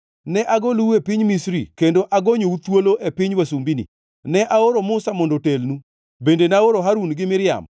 Ne agolou e piny Misri kendo agonyou thuolo e piny wasumbini. Ne aoro Musa, mondo otelnu, bende naoro Harun gi Miriam.